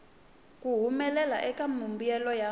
ku humelela eka mimbuyelo ya